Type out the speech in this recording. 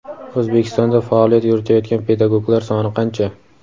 O‘zbekistonda faoliyat yuritayotgan pedagoglar soni qancha?.